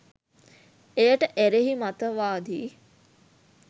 එයට එරෙහි මතවාදී